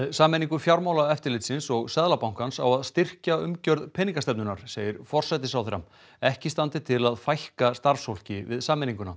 sameiningu Fjármálaeftirlitsins og Seðlabankans á að styrkja umgjörð peningastefnunnar segir forsætisráðherra ekki standi til að fækka starfsfólki við sameininguna